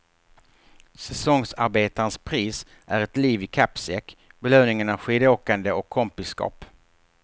Säsongsarbetarens pris är ett liv i kappsäck, belöningen är skidåkande och kompisskap.